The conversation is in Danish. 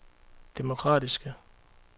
demokratiske